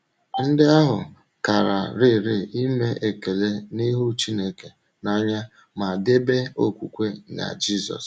Ndị ahụ kàràrịrị ime ekele n’ịhụ̀ Chínèké n’anya ma debe okwùkwè n’Jisùs.